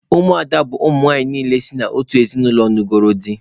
Ụmụ ada bụ ụmụnwanyị niile si n'otu ezinụlọ nugoro dị